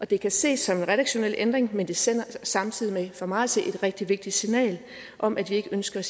det kan ses som en redaktionel ændring men det sender samtidig for mig at se et rigtig vigtigt signal om at vi ikke ønsker